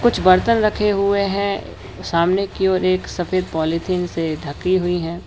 कुछ बर्तन रखे हुए हैं सामने की ओर एक सफेद पॉलिथीन से ढकी हुई हैं।